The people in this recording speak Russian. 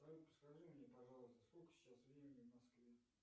скажи мне пожалуйста сколько сейчас времени в москве